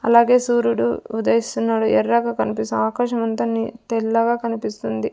అలాగే సూర్యుడు ఉదయిస్తున్నాడు ఎర్రగా కనిపిస్తా ఆకాశం అంతా ని తెల్లగా కనిపిస్తుంది.